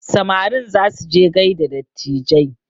Samarin za su je gaida dattijai